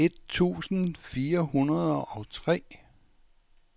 et tusind fire hundrede og tre